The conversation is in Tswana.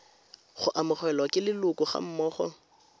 go amogelwa ke leloko gammogo